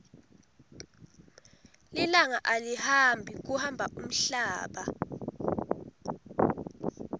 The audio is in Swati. lilanga alihambi kuhamba umhlaba